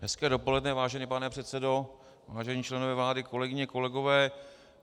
Hezké dopoledne, vážený pane předsedo, vážení členové vlády, kolegyně, kolegové.